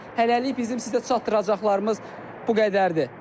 Hələlik bizim sizə çatdıracaqlarımız bu qədərdir.